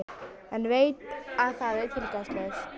En veit að það er tilgangslaust.